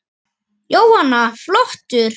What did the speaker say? Jóhanna: Flottur?